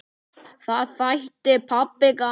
Það þætti pabba gaman.